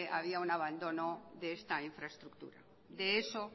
había un abandono de esta infraestructura de eso